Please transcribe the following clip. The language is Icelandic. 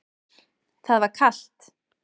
Það var kalt.